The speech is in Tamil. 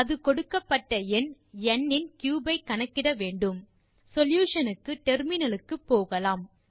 அது கொடுக்கப்பட்ட எண் ந் இன் கியூப் ஐ கணக்கிட வேன்டும் சொல்யூஷன் க்கு டெர்மினல் க்கு போகலாம்